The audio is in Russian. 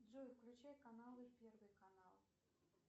джой включай каналы первый канал